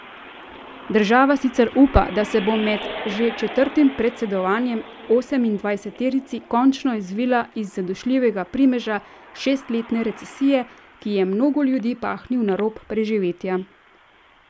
Država sicer upa, da se bo med že četrtim predsedovanjem osemindvajseterici končno izvila iz zadušljivega primeža šestletne recesije, ki je mnogo ljudi pahnil na rob preživetja.